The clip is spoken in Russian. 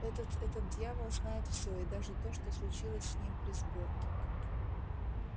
этот этот дьявол знает всё и даже то что случилось с ним при сборке